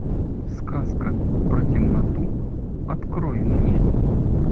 сказка про темноту открой мне